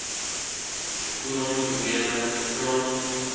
kolon probleme crohn